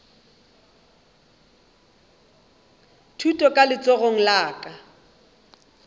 thuto ka letsogong la ka